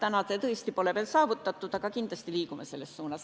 See pole tõesti veel saavutatud, aga kindlasti liigume selles suunas.